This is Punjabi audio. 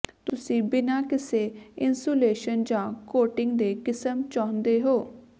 ਤੁਸੀਂ ਬਿਨਾਂ ਕਿਸੇ ਇੰਸੂਲੇਸ਼ਨ ਜਾਂ ਕੋਟਿੰਗ ਦੇ ਕਿਸਮ ਚਾਹੁੰਦੇ ਹੋ